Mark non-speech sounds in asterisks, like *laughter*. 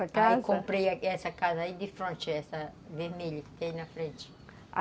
*unintelligible* Aí comprei essa casa aí de fronte, essa vermelha que tem aí na frente.